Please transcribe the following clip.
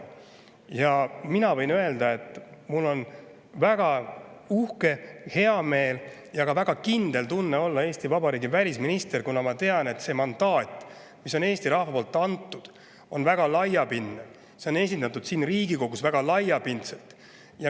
Ja mina võin öelda, et ma olen väga uhke ning mul on hea meel ja ka väga kindel tunne olla Eesti Vabariigi välisminister, kuna ma tean, et see mandaat, mille on Eesti rahvas andnud, on väga laiapindne, see on esindatud siin Riigikogus väga laiapindselt.